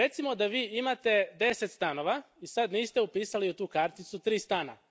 Recimo da vi imate deset stanova i sad niste upisali u tu karticu tri stana.